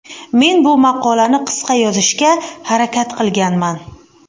Men bu maqolani qisqa yozishga harakat qilganman.